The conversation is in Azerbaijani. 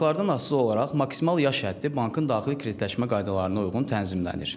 Banklardan asılı olaraq maksimal yaş həddi bankın daxili kreditləşmə qaydalarına uyğun tənzimlənir.